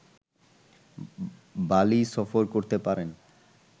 বালি সফর করতে পারেন